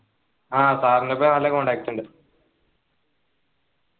ആഹ് sir നിപ്പോ നല്ല contact ഉണ്ട്